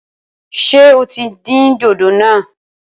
Ṣé o tí dín dòdò náà?